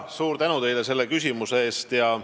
Suur tänu teile selle küsimuse eest!